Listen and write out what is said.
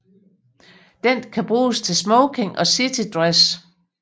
Den kan bruges til smoking og citydress